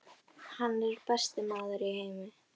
Hann er besti maður í heimi.